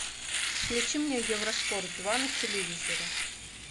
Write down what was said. включи мне евроспорт два на телевизоре